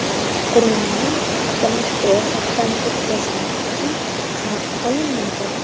Qurilmani avtomatik ro‘yxatdan o‘tkazganlik uchun haq olinmaydi.